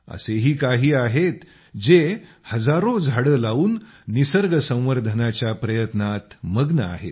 असेही काही आहेत जे हजारो झाडे लावून निसर्ग संवर्धनाच्या प्रयत्नात मग्न आहेत